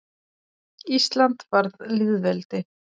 Ísland varð lýðveldi.